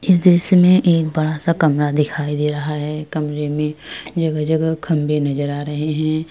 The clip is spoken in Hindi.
इस दृश्य में एक बड़ा सा कमरा दिखाई दे रहा है। कमरे में जगह-जगह खंभे नजर आ रहे हैं।